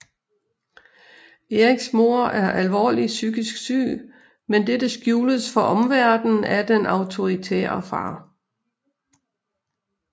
Eriks mor er alvorligt psykisk syg men dette skjules for omverdenen af den autoritære far